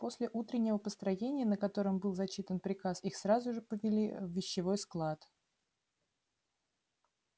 после утреннего построения на котором был зачитан приказ их сразу же повели в вещевой склад